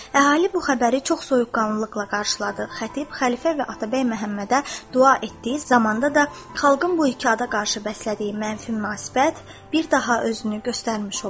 Əhali bu xəbəri çox soyuqqanlılıqla qarşıladı, xətib xəlifə və Atabəy Məhəmmədə dua etdiyi zamanda da xalqın bu iki ada qarşı bəslədiyi mənfi münasibət bir daha özünü göstərmiş oldu.